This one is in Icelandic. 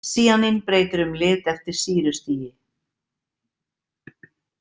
Sýanín breytir um lit eftir sýrustigi.